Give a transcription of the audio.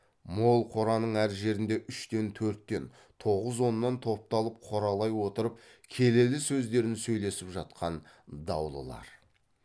мол қораның әр жерінде үштен төрттен тоғыз оннан топталып қоралай отырып келелі сөздерін сөйлесіп жатқан даулылар